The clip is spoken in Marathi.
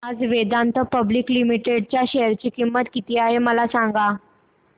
आज वेदांता पब्लिक लिमिटेड च्या शेअर ची किंमत किती आहे मला सांगा